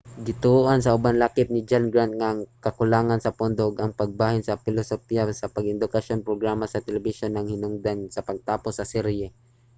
gituohan sa uban lakip ni john grant nga ang kakulangan sa pondo ug ang pagbalhin sa pilosopiya sa pang-edukasyong programa sa telebisyon ang hinungdan sa pagtapos sa serye